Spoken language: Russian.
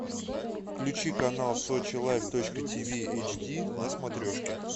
включи канал сочи лайф точка ти ви эйч ди на смотрешке